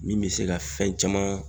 Min bi se ka fɛn caman